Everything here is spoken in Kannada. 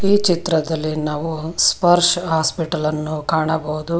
ಈ ಚಿತ್ರದಲ್ಲಿ ನಾವು ಸ್ಪರ್ಶ ಹಾಸ್ಪಿಟಲ್ ಅನ್ನು ಕಾಣಬಹುದು.